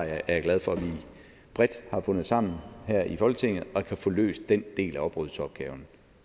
jeg glad for at vi bredt har fundet sammen her i folketinget og kan få løst den del af oprydningsopgaven